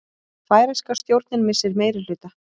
Færeyska stjórnin missir meirihluta